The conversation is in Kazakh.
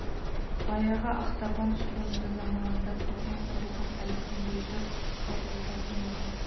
баяғы ақтабан шұбырынды заманында көрген қорлығын әлі күнге жыр қылып айтатын еді